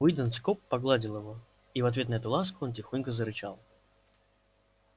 уидон скоп погладил его и в ответ на эту ласку он тихонько зарычал